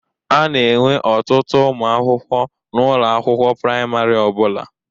A na-enwe ọtụtụ umụ akwụkwọ n'ụlọ akwụkwọ praịmarị ọ bụla.